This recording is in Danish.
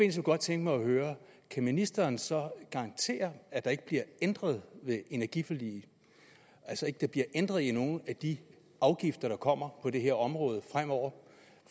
jeg godt tænke mig at høre kan ministeren så garantere at der ikke bliver ændret ved energiforliget altså at der ikke bliver ændret i nogen af de afgifter der kommer på det her område fremover